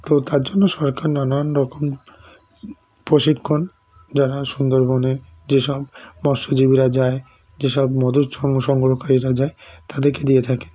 তার জন্য সরকার নানান রকম প্রশীখন জারা সুন্দরবনে জেসব মৎস্যজীবীরা যায়ে জেসব মধু সং সংগ্রহকারীরা যায়ে তাদের কে দিয়ে থাকে